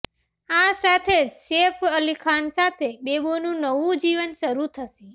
આ સાથે જ સૈફ અલી ખાન સાથે બેબોનું નવું જીવન શરૂ થશે